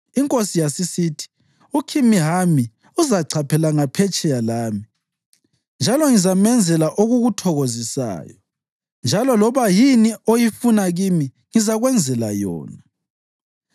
Inkosi yasisithi, “UKhimihami uzachaphela ngaphetsheya lami, njalo ngizamenzela okukuthokozisayo. Njalo loba yini oyifuna kimi ngizakwenzela yona.”